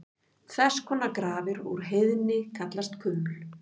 Þess konar grafir úr heiðni kallast kuml.